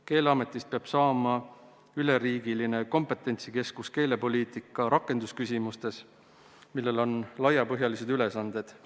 Keeleametist peab saama üleriigiline kompetentsikeskus keelepoliitika rakendamise küsimustes, millel on laiapõhjalised ülesanded.